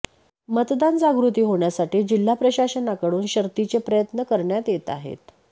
मतदान जागृती होण्यासाठी जिल्हाप्रशासननाकडून शर्थीचे प्रयत्न करण्यात येत आहेत